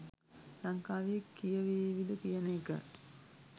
ලංකාවේ කියවේවිද කියන එක.